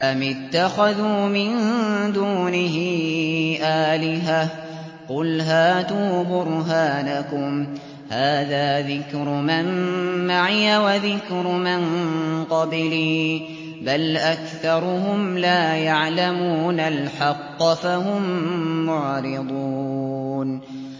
أَمِ اتَّخَذُوا مِن دُونِهِ آلِهَةً ۖ قُلْ هَاتُوا بُرْهَانَكُمْ ۖ هَٰذَا ذِكْرُ مَن مَّعِيَ وَذِكْرُ مَن قَبْلِي ۗ بَلْ أَكْثَرُهُمْ لَا يَعْلَمُونَ الْحَقَّ ۖ فَهُم مُّعْرِضُونَ